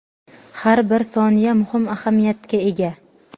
har bir soniya muhim ahamiyatga ega.